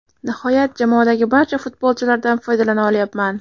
Nihoyat, jamoadagi barcha futbolchilardan foydalana olyapman.